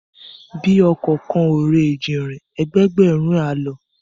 Bí ọkọ̀ kan ò re Èjìnrìn, ẹgbẹẹgbẹ̀rún ẹ á lọ